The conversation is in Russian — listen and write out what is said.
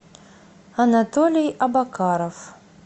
анатолий абакаров